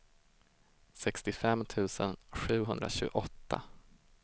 sextiofem tusen sjuhundratjugoåtta